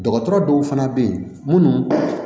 Dɔgɔtɔrɔ dɔw fana bɛ yen minnu